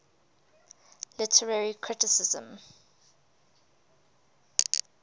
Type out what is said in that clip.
literary criticism